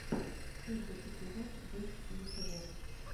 первый эпизод бэст лючадорс